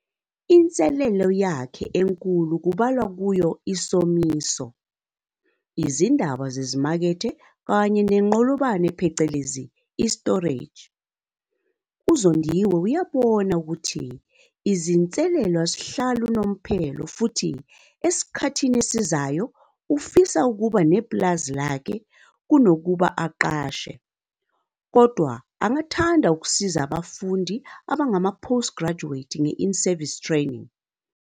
Inselelo yakhe enkulu kubalwa kuyo isomiso, izindaba zezimakethe kanye nenqolobane phecelezi i-storage. UZondiwe uyabona ukuthi izinselelo azihlali unomphela futhi esikhathini esizayo ufisa ukuba nepulazi lakhe kunokuba aqashe, kodwa angathanda ukusiza abafundi abangama-post-graduate nge-in-service training.